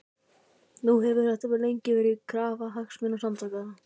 Nú hefur þetta lengi verið krafa Hagsmunasamtakanna?